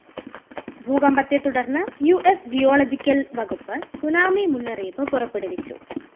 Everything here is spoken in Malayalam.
ഭൂകമ്പത്തെ തുടര്‍ന്നു യുഎസ് ജിയോളജിക്കൽ വകുപ്പ് ത്സുനാമി മുന്നറിയിപ്പു പുറപ്പെടുവിച്ചു